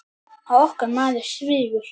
Og okkar maður svífur.